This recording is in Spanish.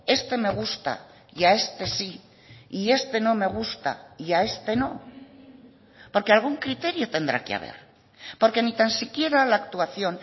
este me gusta y a este sí y este no me gusta y a este no porque algún criterio tendrá que haber porque ni tan siquiera la actuación